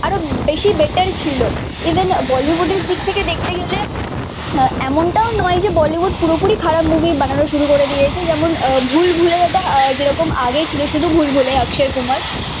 আরো বেশি বেটার ছিল ইভেন বলিউডের দিক থেকে দেখতে গেলে এমন তও নয় যে বলিউড পুরো পুরি খারাপ মুভি বানানো শুরু করে দিয়েছে যেমন ভুলভুলাইয়া টা যেরকম আগে ছিল শুধু ভুলভুলাইয়া অক্ষয় কুমার